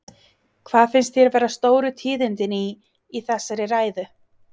Hvað fannst þér vera stóru tíðindin í, í þessari ræðu?